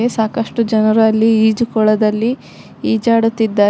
A ಸಾಕಷ್ಟು ಜನರು ಅಲ್ಲಿ ಈಜುಕೊಳದಲ್ಲಿ ಈಜಾಡುತ್ತಿದ್ದಾ --